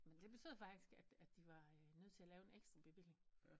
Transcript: Men det betød faktisk at at de var øh nødt til at lave en ekstra bevilling